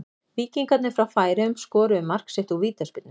Víkingarnir frá Færeyjum skoruðu mark sitt úr vítaspyrnu.